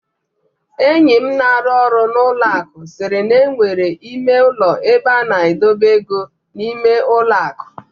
Enyi m na-arụ ọrụ n'ụlọ akụ siiri na e nwere ime ụlọ ebe a na-edobe ego n'ime ụlọ akụ.